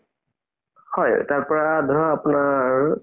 হয়, তাৰপৰা ধৰা আপোনাৰ